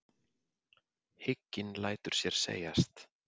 Hygginn lætur sér segjast.